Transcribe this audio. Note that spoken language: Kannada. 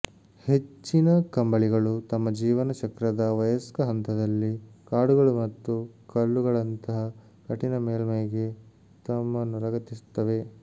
ಹೆಚ್ಚಿನ ಕಂಬಳಿಗಳು ತಮ್ಮ ಜೀವನ ಚಕ್ರದ ವಯಸ್ಕ ಹಂತದಲ್ಲಿ ಕಾಡುಗಳು ಮತ್ತು ಕಲ್ಲುಗಳಂತಹ ಕಠಿಣ ಮೇಲ್ಮೈಗೆ ತಮ್ಮನ್ನು ಲಗತ್ತಿಸುತ್ತವೆ